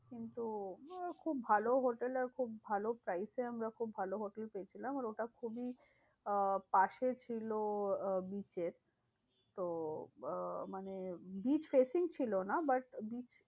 কিন্তু আহ খুব ভালো হোটেল আর খুব ভালো price এ আমরা খুব ভালো হোটেল পেয়েছিলাম। আর ওটা খুবই আহ পাশে ছিল আহ beach এর তো আহ মানে beach facing ছিলোনা but beach